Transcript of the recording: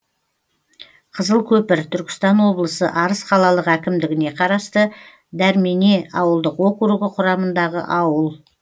қызылкөпір түркістан облысы арыс қалалық әкімдігіне қарасты дәрмене ауылдық округі құрамындағы ауыл